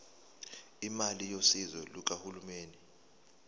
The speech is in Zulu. imali yosizo lukahulumeni